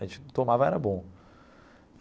A gente tomava e era bom.